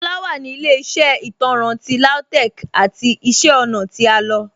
Shola wa ni ilẹ̀-iṣẹ́ itanrán ti Lautech's ati iṣẹ́ ọ̀na ti a lọ.